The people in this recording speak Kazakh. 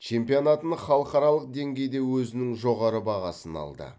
чемпионатын халықаралық деңгейде өзінің жоғары бағасын алды